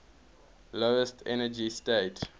lowest energy state